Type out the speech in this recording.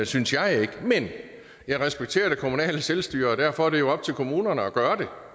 synes jeg men jeg respekterer det kommunale selvstyre og derfor er det jo op til kommunerne at gøre det